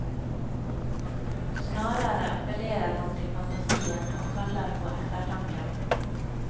Snarere appellerer han til fantasien, og kaller på ettertanken.